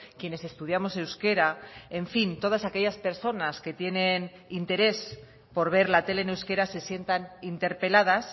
quienes estudiamos euskera en fin todas aquellas personas que tienen interés por ver la tele en euskera se sientan interpeladas